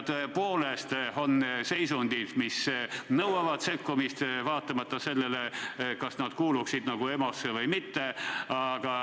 Tõepoolest, on seisundeid, mis nõuavad sekkumist vaatamata sellele, kas need kuuluvad EMO pädevusse või mitte.